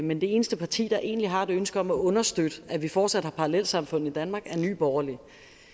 men det eneste parti der egentlig har et ønske om at understøtte at vi fortsat har parallelsamfund i danmark er nye borgerlige